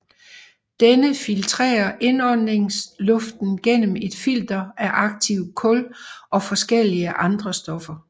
Denne filtrerer indåndingsluften gennem et filter af aktivt kul og forskellige andre stoffer